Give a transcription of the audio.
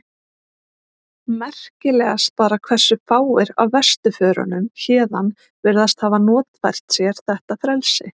Merkilegast bara hversu fáir af vesturförunum héðan virðast hafa notfært sér þetta frelsi.